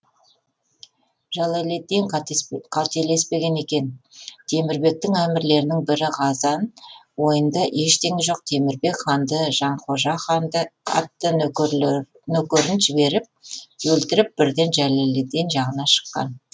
жәлеллиддин қателеспеген екен темірбектің әмірлерінің бірі ғазан ойында ештеңе жоқ темірбек ханды жанхожа атты нөкерін жіберіп өлтіріп бірден жәлеллиддин жағына шыққан